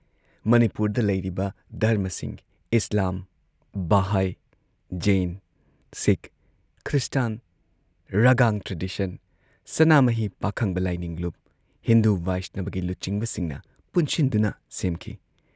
ꯃꯅꯤꯄꯨꯔꯗ ꯂꯩꯔꯤꯕ ꯙꯔꯃꯁꯤꯡ Islam, Bahai, Jain, Sikh, Christian, Ragang tradition, ꯁꯅꯥꯃꯍꯤ ꯄꯥꯈꯪꯕ ꯂꯥꯏꯅꯤꯡ ꯂꯨꯞ, ꯍꯤꯟꯗꯨ ꯕꯩꯁꯅꯕꯒꯤ ꯂꯨꯆꯤꯡꯕꯁꯤꯡꯅ ꯄꯨꯟꯁꯤꯟꯗꯨꯅ ꯁꯦꯝꯈꯤ ꯫